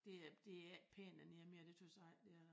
Det er det er ikke pænt dernede mere det tøs jeg ikke det er